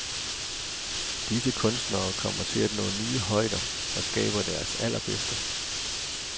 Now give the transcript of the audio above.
Disse kunstnere kommer til at nå nye højder og skaber deres allerbedste.